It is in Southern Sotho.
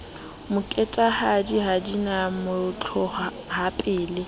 moketahadi ha di na motlohapele